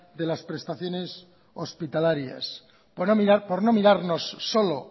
de las prestaciones hospitalarias por no mirarnos solo